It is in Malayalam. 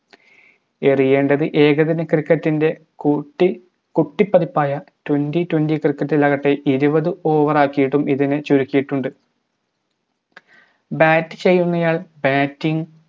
ണ്ടത് ഏകദിന cricket ൻറെ കൂട്ടി കുട്ടിപ്പതിപ്പായ twenty twenty cricket ലാകട്ടെ ഇരുപത് over ആകിയിട്ടും ഇതിനെ ചുരുക്കിയിട്ടുണ്ട് bat ചെയ്യുന്നയാൾ batting